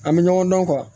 An bɛ ɲɔgɔn dɔn